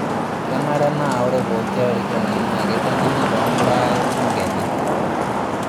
Kenare naa ore pooki arikoni naa keiteng'enai too mbaa e bunge enye.